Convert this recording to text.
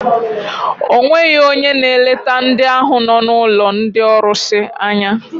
O nweghị onye na-eleta ndị ahụ nọ n'ụlọ ndị ọrụsị anya.